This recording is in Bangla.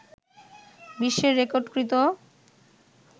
বিশ্বে রেকর্ডকৃত